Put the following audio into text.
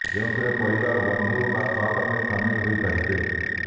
ଯେଉଁଥିରେ ପରିବାର ବନ୍ଧୁ ବା ସହକର୍ମୀ ସାମିଲ ହୋଇ ପାରିବେ